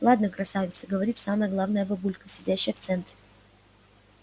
ладно красавица говорит самая главная бабулька сидящая в центре